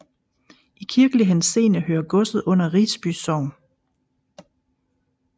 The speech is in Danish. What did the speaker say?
I kirkelig henseende hører godset under Risby Sogn